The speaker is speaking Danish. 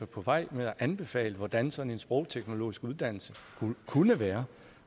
på vej ved at anbefale hvordan sådan en sprogteknologisk uddannelse kunne være